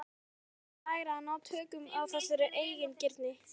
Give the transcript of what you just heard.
Hann yrði að læra að ná tökum á þessari eigingirni.